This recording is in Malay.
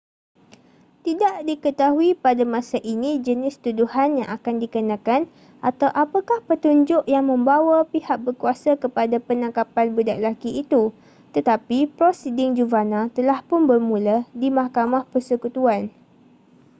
tidak diketahui pada masa ini jenis tuduhan yang akan dikenakan atau apakah petunjuk yang membawa pihak berkuasa kepada penangkapan budak lelaki itu tetapi prosiding juvana telahpun bermula di mahkamah persekutuan